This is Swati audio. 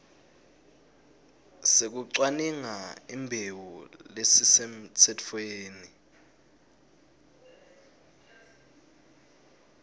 sekucwaninga imbewu lesisemtsetfweni